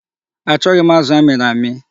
Achọghị m azụ a miri amị.